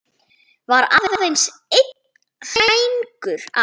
Var aðeins einn hængur á.